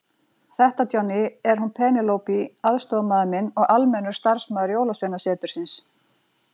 Þetta Johnny, er hún Penélope aðstoðarmaður minn og almennur starfsmaður Jólasveinasetursins.